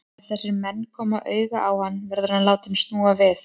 Ef þessir menn koma auga á hann, verður hann látinn snúa við.